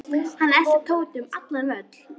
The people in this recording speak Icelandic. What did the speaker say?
Hann elti Tóta um allan völl.